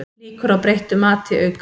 Líkur á breyttu mati aukast